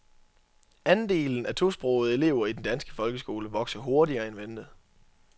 Andelen af tosprogede elever i den danske folkeskole vokser hurtigere end ventet.